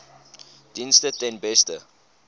dienste ten beste